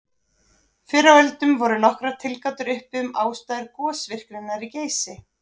Fyrr á öldum voru nokkrar tilgátur uppi um ástæður gosvirkninnar í Geysi.